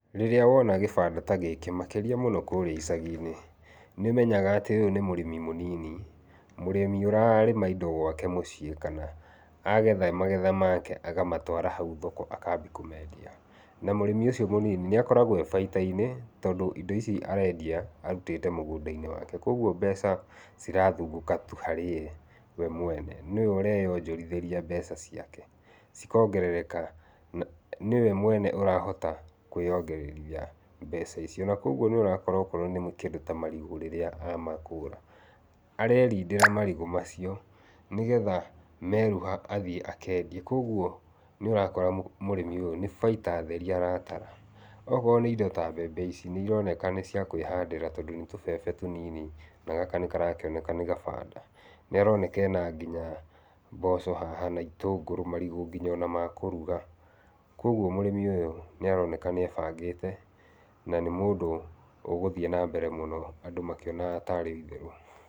Rĩrĩa wona gĩbanda ta gĩkĩ makĩria mũno kũrĩa icagi-inĩ nĩmenyaga atĩ ũyũ nĩ mũrĩmi mũnini, mũrĩmi ũrarĩma indo gwake mũciĩ, kana agetha magetha make akamatwara hau thoko akambia kũmendia, na mũrĩmi ũcio mũnini nĩ akoragwo e baita-inĩ, tondũ indo ici arendia arutĩte mũgũnda-inĩ wake, koguo mbeca cirathungũka tu harĩa arĩ we mwene, nĩwe ũreonjorithĩria mbeca ciake, cikongerereka, nĩwe mwene ũrahota kwĩyongererithia mbeca icio, na koguo nĩũrakora okorwo nĩ kĩndũ ta marigũ rĩrĩa amakũra, arerindĩra marigũ macio, nĩgetha meruha athiĩ akendie, koguo nĩ ũrakora mũrimi nĩ baita theri aratara, okorwo nĩ ta mbembe ici, nĩ cironekana nĩciakwĩhandĩra, tondũ nĩ tũbebe tũnini na gaka nĩkarakĩoneka nĩgabanda. Nĩaroneka ena mboco haha na na itũngũrũ, marigũ ona nginya makũruga. Koguo mũrĩmi ũyũ nĩ aroneka nĩebangĩte na nĩ mũndũ ũgũthiĩ na mbere mũno andũ makĩonaga tarĩ itherũ.